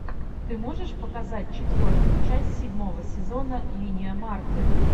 ты можешь показать четвертую часть седьмого сезона линия марты